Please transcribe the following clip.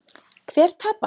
Hver tapar?